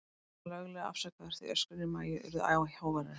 Hann var löglega afsakaður, því öskrin í Maju urðu æ háværari.